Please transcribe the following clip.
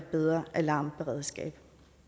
bedre alarmberedskab